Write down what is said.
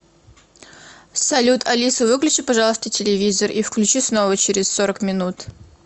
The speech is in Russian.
салют алиса выключи пожалуйста телевизор и включи снова через сорок минут